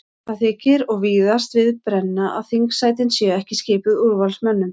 Það þykir og víðast við brenna að þingsætin séu ekki skipuð úrvalsmönnum.